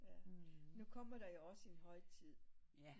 Nu kommer der jo også en højtid